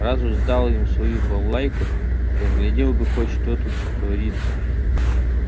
раз уж сдал им свою балалайку поглядел бы хоть что тут творится